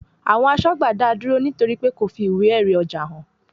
Àwọn asọ́gbà dáa dúró nítorí pé kò fi ìwé èrì ọjà hàn